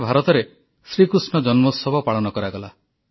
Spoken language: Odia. ଗତକାଲି ସାରା ଭାରତରେ ଶ୍ରୀ କୃଷ୍ଣ ଜନ୍ମୋତ୍ସବ ପାଳନ କରାଗଲା